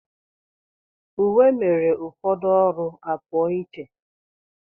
Uwe mere ụfọdụ ọrụ a pụọ iche.